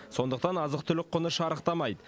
сондықтан азық түлік құны шарықтамайды